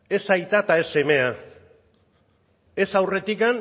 ez aita eta ez semea ez aurretik